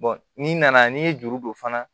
n'i nana n'i ye juru don fana